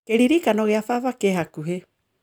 Kĩririkano gĩa baba kĩ hakuhĩ